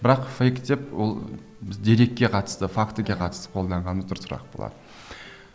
бірақ фейк деп ол біз дерекке қатысты фактіге қатысты қолданғанымыз дұрысырақ болар